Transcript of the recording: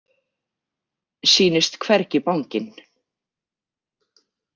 Sýnist hvergi banginn.